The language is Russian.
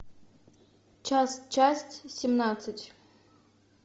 час часть семнадцать